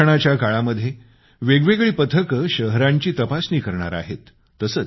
या सर्वेक्षणाच्या काळामध्ये वेगवेगळी पथके शहरांची तपासणी करणार आहेत